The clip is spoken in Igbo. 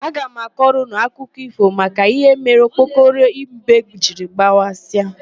Aga m akọrọ ụnụ akụkọ ífò maka íhé mere okpokoro mbe jiri gbawasịa.